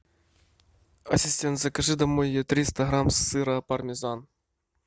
ассистент закажи домой триста грамм сыра пармезан